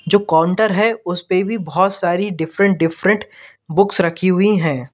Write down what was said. जो काउंटर है उस पे भी बहुत सारी डिफरेंट डिफरेंट बुक्स रखी हुई हैं।